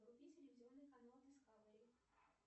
вруби телевизионный канал дискавери